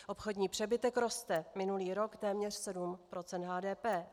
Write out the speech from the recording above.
Obchodní přebytek roste, minulý rok téměř 7 % HDP.